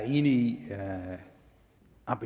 i